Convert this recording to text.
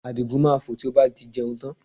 Àdìgún máa fò tí ó bá ti jẹun tán